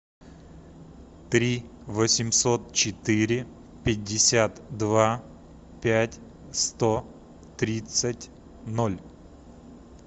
три восемьсот четыре пятьдесят два пять сто тридцать ноль